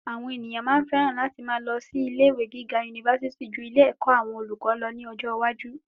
Àwọn ènìyàn máa féràn láti máa lọ ilé ìwé gíga unifásití jú ilé ẹ̀kọ́ àwọn olùkọ́ lọ ní ọjọ́ iwájú